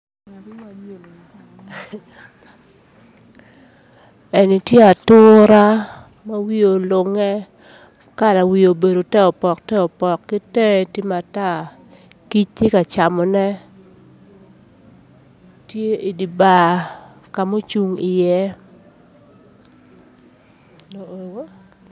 Tye ature ma olunge kala wiye obedo ter opok ter opok kitenge tye mater kic tye ka camone tye idibar kama ocung iye.